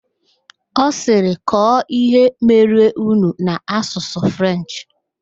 Ọ sịrị, kọọ ihe merenụ n'Asụsụ Frenchị!